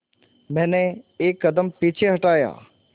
मैंने एक कदम पीछे हटाया